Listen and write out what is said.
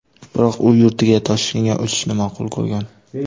Biroq u yurtiga, Toshkentga uchishni ma’qul ko‘rgan.